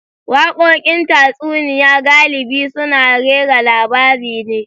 Wakokin tatsuniya galibi suna rera labari ne.